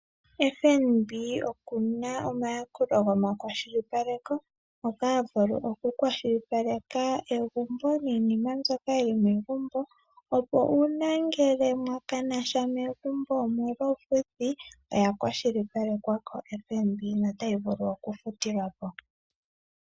FNB okuna omayakulo goma kwashilipaleko mpoka havulu oku kwashilipaleka egumbo niinima mbyoka yili megumbo, opo uuna ngele mwa kana sha megumbo omolw'uufuthi, oya kwashilipalekwa ko FNB notayi vulu okufutilwa po.